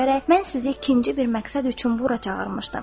Mən sizi ikinci bir məqsəd üçün bura çağırmışdım.